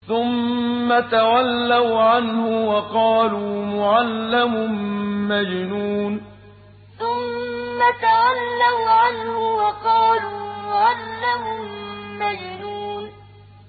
ثُمَّ تَوَلَّوْا عَنْهُ وَقَالُوا مُعَلَّمٌ مَّجْنُونٌ ثُمَّ تَوَلَّوْا عَنْهُ وَقَالُوا مُعَلَّمٌ مَّجْنُونٌ